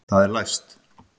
Það er læst!